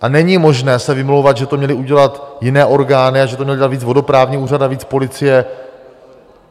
A není možné se vymlouvat, že to měly udělat jiné orgány a že to měl dělat víc vodoprávní úřad a víc policie.